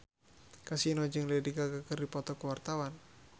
Kasino jeung Lady Gaga keur dipoto ku wartawan